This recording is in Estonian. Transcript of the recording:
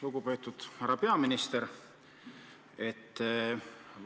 Lugupeetud härra peaminister!